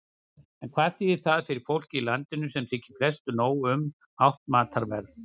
En hvað þýðir það fyrir fólkið í landinu, sem þykir flestu nóg um hátt matarverð?